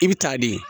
I bi taa de